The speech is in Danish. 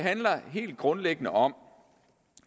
helt grundlæggende om